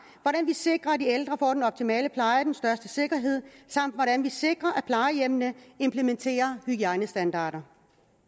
hvordan vi sikrer at de ældre får den optimale pleje og den største sikkerhed samt hvordan vi sikrer at plejehjemmene implementerer hygiejnestandarder